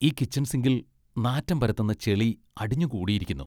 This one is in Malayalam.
ഈ കിച്ചൺ സിങ്കിൽ നാറ്റം പരത്തുന്ന ചെളി അടിഞ്ഞു കൂടിയിരിക്കുന്നു .